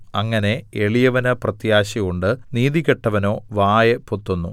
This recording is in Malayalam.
അങ്ങനെ എളിയവന് പ്രത്യാശയുണ്ട് നീതികെട്ടവനോ വായ് പൊത്തുന്നു